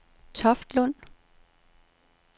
Toftlund